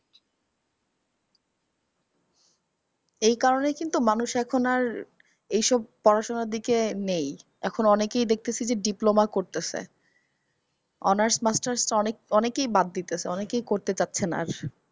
এই কারণে কিন্তু মানুষের এখন আর এই সব পড়াশুনার দিকে নেই। এখন অনেকই দেখতেসি যে diploma করতেসে। honours masters তো অনেক অনেকই বাদ দিতেসে অনকেই করতে চাচ্ছেনা আর।